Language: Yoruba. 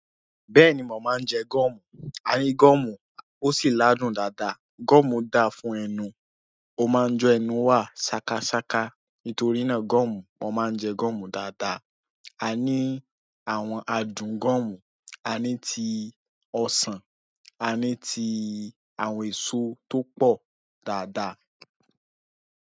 Bẹ́ẹ̀ni, mo máa ń jẹ gọ́ọ̀mù. A ní gọ́ọ̀mù ó sì ládùn dáadáa. Gọ́ọ̀mù dáa fún ẹnu. Ó máa ń jẹ́'nu wà ṣákáṣáká. Nítorí náà gọ́ọ̀mù, mo máa ń jẹ gọ́ọ̀mù dáadáa. A ní àwọn adùn gọ́ọ̀mù. A ní ti ọsàn, a ní ti àwọn èso tó pọ̀ dáadáa.